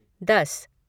दस